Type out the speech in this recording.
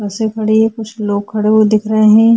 बसे खड़ी हैं। कुछ लोग खड़े हुए दिखा रहे हैं।